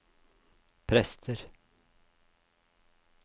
prester